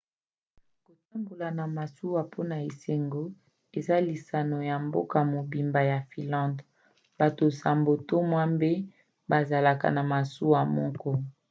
kotambola na masuwa mpona esengo eza lisano ya mboka mobimba ya finlande bato nsambo to mwambe bazalaka na masuwa moko